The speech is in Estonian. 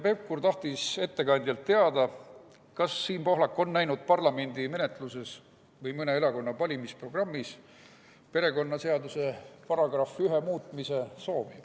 Pevkur tahtis ettekandjalt teada, kas Siim Pohlak on näinud parlamendi menetluses või mõne erakonna valimisprogrammis perekonnaseaduse § 1 muutmise soovi.